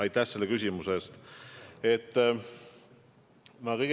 Aitäh selle küsimuse eest!